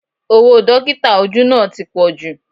Owó Dọ́kítà ojú náà ti pọju